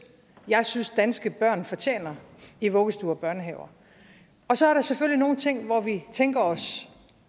jeg synes danske børn fortjener i vuggestuer og store børnehaver og så er der selvfølgelig nogle ting hvor vi tænker os